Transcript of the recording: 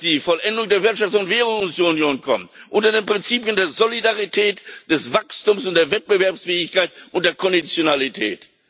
Wir wollen, dass die Vollendung der Wirtschafts und Währungsunion kommt unter den Prinzipien der Solidarität, des Wachstums, der Wettbewerbsfähigkeit und der Konditionalität.